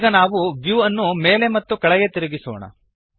ಈಗ ನಾವು ವ್ಯೂ ಅನ್ನು ಮೇಲೆ ಮತ್ತು ಕೆಳಗೆ ತಿರುಗಿಸೋಣ